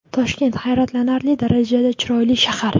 Toshkent – hayratlanarli darajada chiroyli shahar.